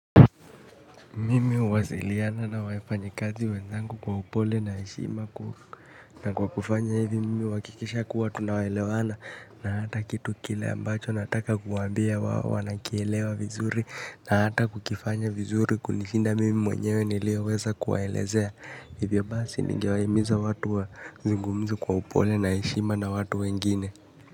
Mimi huwasiliana na wafanyakazi wenzangu kwa upole na heshima na kwa kufanya hivi mimi huhakikisha kuwa tunaelewana na hata kitu kile ambacho nataka kuambia wao wanakielewa vizuri na hata kukifanya vizuri kunishinda mimi mwenyewe nilioweza kuwaelezea hivyo basi ningewahimiza watu wazungumze kwa upole na heshima na watu wengine.